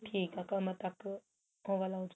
ਠੀਕ ਏ ਕਮਰ ਤੱਕ ਉਹ ਵਾਲਾ ਹੋ ਜੂਗਾ